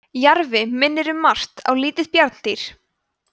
jarfi minnir um margt á lítið bjarndýr